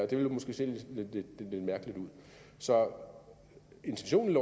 det ville måske se lidt mærkeligt ud så intentionen